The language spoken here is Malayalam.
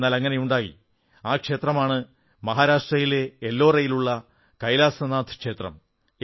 എന്നാൽ അങ്ങനെയുണ്ടായി ആ ക്ഷേത്രമാണ് മഹാരാഷ്ട്രയിലെ എല്ലോറയിലുള്ള കൈലാസനാഥ് ക്ഷേത്രം